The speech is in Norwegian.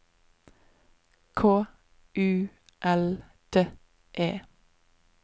K U L D E